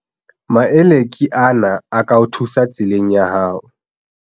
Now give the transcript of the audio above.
Maele ke ana a ka o thusang tseleng ya hao.